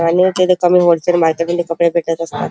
आणि तिथ कमी होलसेल मार्केट मधी कपडे भेटत असतात.